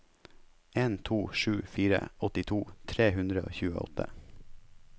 en to sju fire åttito tre hundre og tjueåtte